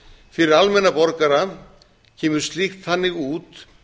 fyrir almenna borgara kemur slíkt þannig út